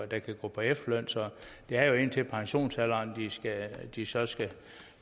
der kan gå på efterløn så det er jo indtil pensionsalderen de så skal